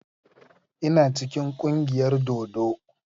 Ina cikin kungiyar dodo.